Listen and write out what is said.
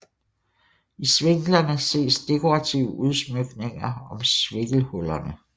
I sviklerne ses dekorative udsmykninger om svikkelhullerne